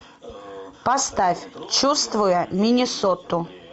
поставь чувствуя миннесоту